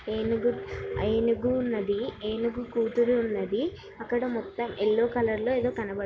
ఏనుగు ఆ ఏనుగు ఉన్నది. ఏనుగు కూతురు ఉన్నది. అక్కడ మొత్తం ఎల్లో కలర్ లో ఏదో కనబడు--